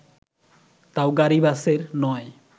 তাও গাড়ি-বাসের নয়